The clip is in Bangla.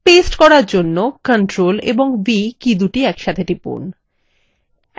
paste করার জন্য ctrl ও v কীদুটি একসঙ্গে টিপুন